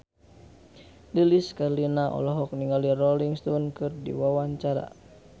Lilis Karlina olohok ningali Rolling Stone keur diwawancara